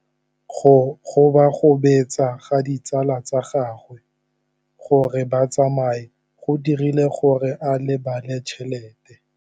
Go gobagobetsa ga ditsala tsa gagwe, gore ba tsamaye go dirile gore a lebale tšhelete.